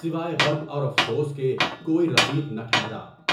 سوائے غم اور افسوس کے کوئی رفیق نہ ٹھہرا۔